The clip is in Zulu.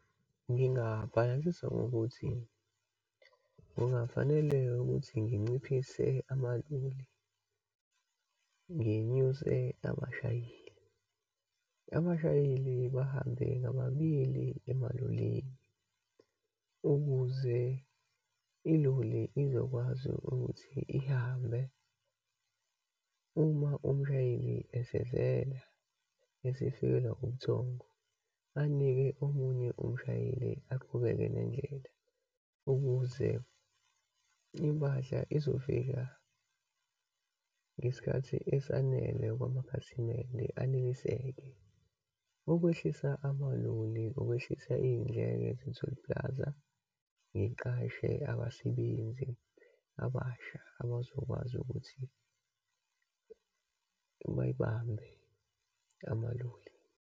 Ngingabhalansisa ngokuthi kungafanele ukuthi nginciphise amaloli, nginyuse abashayeli. Abashayeli bahambe ngababili emalolini, ukuze iloli izokwazi ukuthi ihambe uma umshayeli esevela esifikelwa ubuthongo, anike omunye umshayeli aqhubeke nendlela, ukuze impahla izofika ngesikhathi esanele kwamakhasimende, aneliseke. Ukwehlisa amaloli, ukwehlisa iyindleko ze-toll plaza, ngiqashe abasebenzi abasha abazokwazi ukuthi bayibambe amaloli.